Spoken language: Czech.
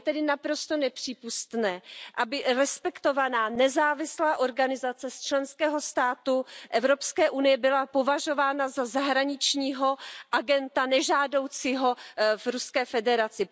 Je tedy naprosto nepřípustné, aby respektovaná nezávislá organizace z členského státu Evropské unie byla považována za nežádoucího zahraničního agenta v Ruské federaci.